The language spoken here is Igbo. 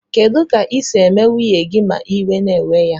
Kedu ka isi eme nwunye gi ma iwe na ewe ya?